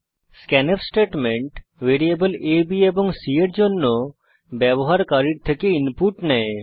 scanf statement variable a b এবং c এর জন্য ব্যবহারকারীর থেকে ইনপুট নেয়